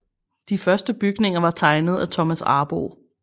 De første bygninger var tegnet af Thomas Arboe